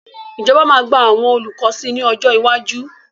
Ìjọba máa gba àwọn olùkọ́ sí ní ọjọ́ iwájú.